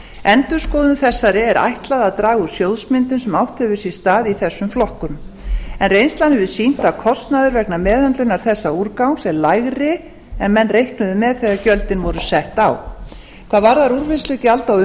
endurskoðun þessari er ætlað að draga úr sjóðsmyndun sem átt hefur sér stað í þessum flokkum en reynslan hefur sýnt að kostnaður vegna meðhöndlunar þessa úrgangs er lægri en menn reiknuðu með þegar gjöldin voru sett á hvað varðar úrvinnslugjald á